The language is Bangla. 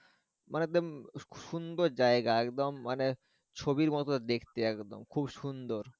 মানে সুন্দর জায়গা একদম মানে ছবির মতো দেখতে একদম খুব সুন্দর।